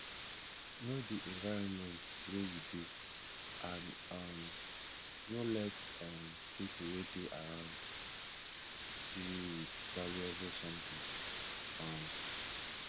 know di environment wey you dey and um no let um pipo wey dey around see you with valuable something um